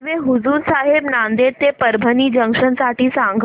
railway Hazur Sahib Nanded ते Parbhani junction साठी सांगा